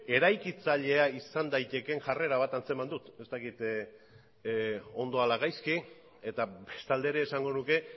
eraikitzailea izan daitekeen jarrera bat antzeman dut ez dakit ondo ala gaizki eta bestalde ere esango nuke